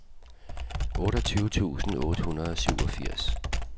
otteogtyve tusind otte hundrede og syvogfirs